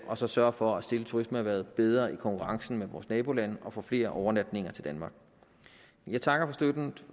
og så sørge for at stille turismeerhvervet bedre i konkurrencen med vores nabolande og få flere overnatninger til danmark jeg takker